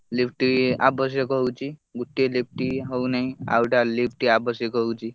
Lift ଆବଶ୍ୟକ ହଉଛି। ଗୋଟିଏ lift ହଉନାହିଁ ଆଉ ଗୋଟେ lift ଆବଶ୍ୟକ ହଉଛି।